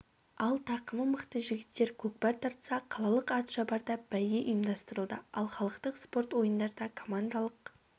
ал тақымы мықты жігіттер көкпар тартса қалалық ат шабарда бәйге ұйымдастырылды ал халықтық спорт ойындарда командалық